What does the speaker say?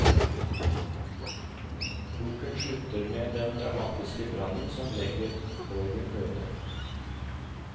Boken slutter med den dramatiske brannen som legger borgen øde.